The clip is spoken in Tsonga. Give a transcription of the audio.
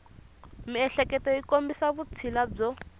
miehleketo yi kombisa vutshila byo